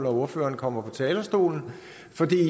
ordfører kommer på talerstolen